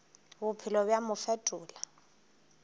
bophelo bja mo bo fetola